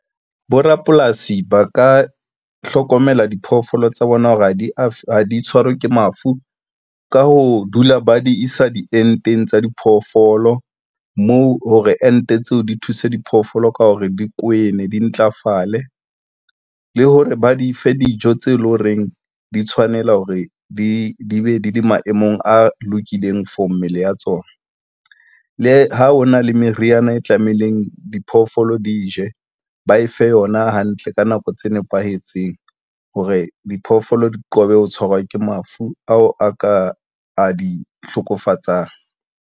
Borapolasi ba ka hlokomela diphoofolo tsa bona hore ha di tshwarwe ke mafu ka ho dula ba di isa dienteng tsa diphoofolo moo hore ente tseo di thuse diphoofolo ka hore dikwene di ntlafale le hore ba di fe dijo tse leng horeng di tshwanela hore di be di le maemong a lokileng for mmele ya tsona. Le ha ho na le meriana e tlamehileng, diphoofolo di je ba efe yona hantle ka nako tse nepahetseng hore diphoofolo di qobe ho tshwarwa ke mafu ao a ka a di hlokofatsang.